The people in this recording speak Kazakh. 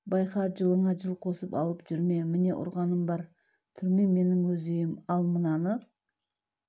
байқа жылыңа жыл қосып алып жүрме міне ұрғаным бар түрме менің өз үйім ал мынаны